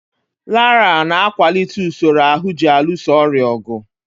Laraa na-akwalite usoro ahụ ji alụso ọrịa ọgụ.